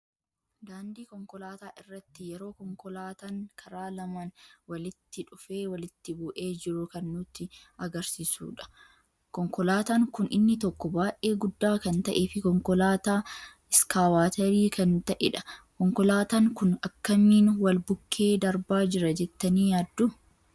Daandii konkoolaata irratti yeroo konkoolaatan karaa laman walitti dhufee walitti bu'ee jiru kan nutti agarsiisuudha. Konkolaatan kun inni tokko baay'ee gudda kan ta'ee fi konkoolaata iskaabaateeri kan ta'edha. Konkoolaatan kun akkamin wal bukke darbaa jira jettani yaaddu?